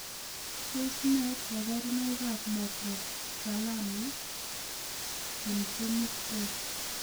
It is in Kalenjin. Tos nee koborunoikab Microphthalmia syndromic 8?